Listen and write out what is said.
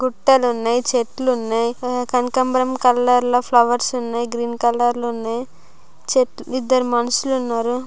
గుట్టలు ఉన్నాయి చెట్లు ఉన్నాయి హ కనకాంబరం కలర్ లో ఫ్లవర్స్ ఉన్నాయి గ్రీన్ కలర్ లో ఉన్నాయి చెట్- ఇద్దరు మనుషులు ఉన్నారు.